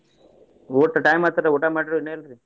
ಊಟದ್ time ಆಯ್ತಲ್ರಾ ಊಟಾ ಮಾಡಿರೋ ಇನ್ನು ಇಲ್ರೀ?